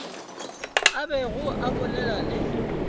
a bego a bolela le